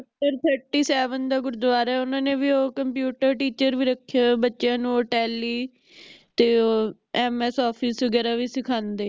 sector thirty seven ਦਾ ਗੁਰਦਵਾਰਾ ਹੈ ਓਹਨਾ ਨੇ ਵੀ ਉਹ computer teacher ਰੱਖਿਆ ਬੱਚਿਆਂ ਨੂੰ ਉਹ tally ਤੇ ਉਹ MS office ਵਗੈਰਾ ਵੀ ਸਿਖਾਂਦੇ